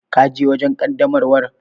Ka je wajen ƙaddamarwar?